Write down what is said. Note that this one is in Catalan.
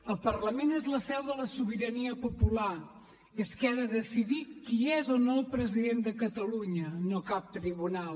el parlament és la seu de la sobirania popular és qui ha de decidir qui és o no el president de catalunya no cap tribunal